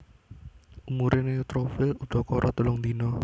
Umuré neutrofil udakara telung dina